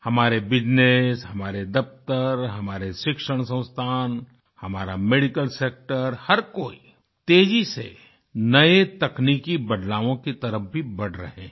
हमारे बिजनेस हमारे दफ्तर हमारे शिक्षण संस्थान हमारा मेडिकल सेक्टर हर कोई तेज़ी से नये तकनीकी बदलावों की तरफ भी बढ़ रहें हैं